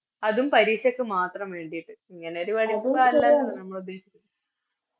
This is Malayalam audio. അതും പരീക്ഷക്ക് മാത്രം വേണ്ടിട്ട് ഇങ്ങനെയൊരു പഠിപ്പ്